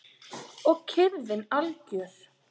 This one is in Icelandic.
Og kyrrðin algjör.